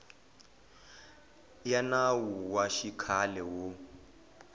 ya nawu wa xikhale wo